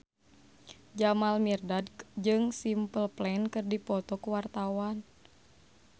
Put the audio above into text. Jamal Mirdad jeung Simple Plan keur dipoto ku wartawan